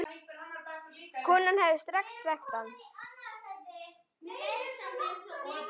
Konan hefði strax þekkt hann.